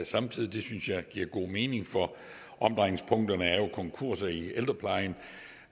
samtidig det synes jeg giver god mening for omdrejningspunkterne er jo konkurser i ældreplejen